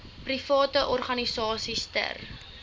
private organisasies ter